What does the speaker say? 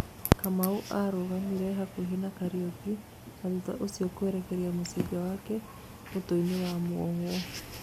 Kamau arũgamire hakuhi na Kariuki na thutha ucio kũerekeria mũcinga wake mũtũeinĩ wa muohwo